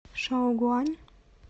шаогуань